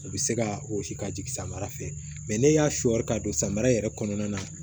U bɛ se ka wɔsi ka jigin samara fɛ n'e y'a sɔɔr ka don samara yɛrɛ kɔnɔna na